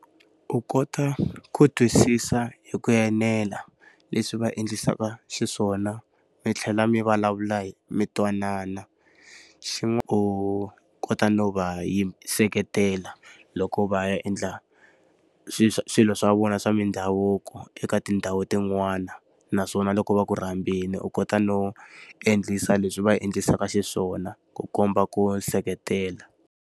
U kota ku twisisa hi ku enela leswi va endlisa xiswona mi tlhela mi vulavula mi twanana. U kota no va seketela loko va ya endla swilo swa vona swa mindhavuko eka tindhawu tin'wana. Naswona loko va ku ri fambile u kota no endlisa leswi va endlisa xiswona ku komba ku seketela.